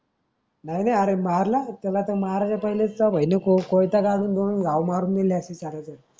नाही रे अरे मारल नाही त्याला माराच्या पहिले तर भाई लोंग त कोयता काढून घाव मारून गेले.